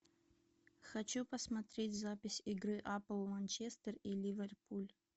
хочу посмотреть запись игры апл манчестер и ливерпуль